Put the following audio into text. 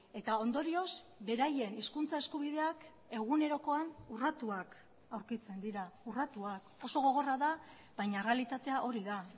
eta ondorioz beraien hizkuntza eskubideak egunerokoan urratuak aurkitzen dira urratuak oso gogorra da baina errealitatea hori da